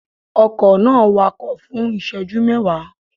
Ọkọ̀ náà wakọ̀ fún ìṣẹ́jú mẹ́wàá